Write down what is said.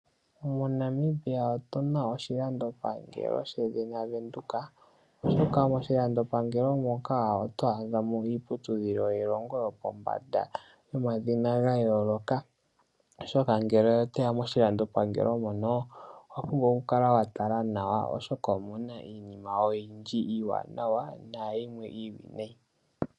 MoNamibia otuna oshilandopangelo shedhina Venduka oshoka moshilandopangelo moka otwaadhamo iiputudhilo yiilongo yopombanda yomadhina gayooloka oshoka ngele otoya moshilandopangelo mono owa pumbwa okukala wa tala nawa oshoka omuna iinima oyindji iiwanawa nayimwe iiwinayi.